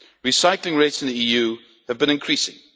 Recycling rates in the EU have been increasing.